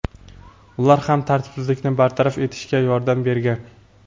Ular ham tartibsizlikni bartaraf etishga yordam bergan.